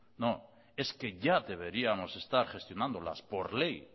no es que ya deberíamos de estar gestionándolas por ley